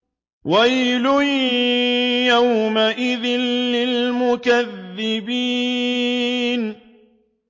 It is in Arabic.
وَيْلٌ يَوْمَئِذٍ لِّلْمُكَذِّبِينَ